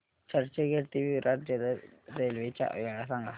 चर्चगेट ते विरार जलद रेल्वे च्या वेळा सांगा